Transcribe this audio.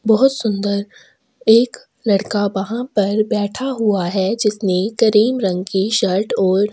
बहोत सुन्दर एक लड़का वहाँ पर बैठा हुआ है जिसने किरीम रंग की शर्ट और--